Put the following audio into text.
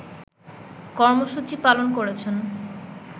কর্মসূচি পালন করেছেন